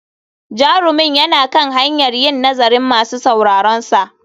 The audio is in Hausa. Jarumin yana kan hanyar yin nazarin masu sauraronsa.